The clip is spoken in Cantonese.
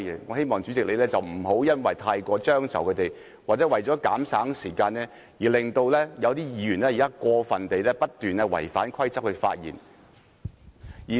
我希望主席不要過於遷就他們或因為要減省時間，而令有些議員發言時不斷過分地違反規則。